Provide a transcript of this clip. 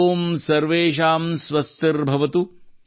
ಓಂ ಸರ್ವೇಶಾಂ ಸ್ವಸ್ಥಿರ್ ಭವತು